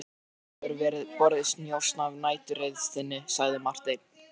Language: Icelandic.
Mönnum hefur borist njósn af næturreið þinni, sagði Marteinn.